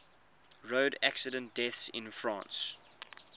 road accident deaths in france